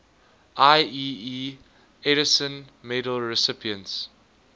ieee edison medal recipients